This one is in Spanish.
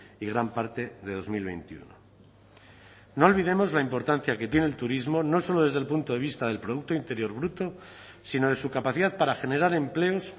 y gran parte de dos mil veintiuno no olvidemos la importancia que tiene el turismo no solo desde el punto de vista del producto interior bruto sino de su capacidad para generar empleos